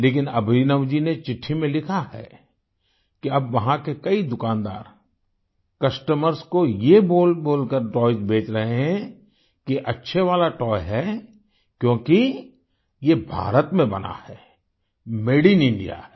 लेकिन अभिनव जी ने चिट्ठी में लिखा हैकि अब वहां के कई दुकानदारcustomers को ये बोलबोलकर टॉयज़ बेच रहे हैं कि अच्छे वाला तोय है क्योंकि ये भारत में बना है मादे इन इंडिया है